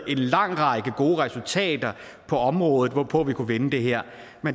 lang række gode resultater på området hvorpå vi kunne vinde det her